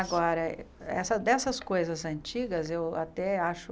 Agora, essa dessas coisas antigas, eu até acho...